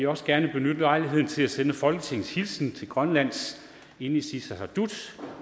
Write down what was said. også gerne benytte lejligheden til at sende folketingets hilsen til grønlands inatsisartut